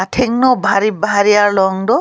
athengno bhari bhari aharlong do.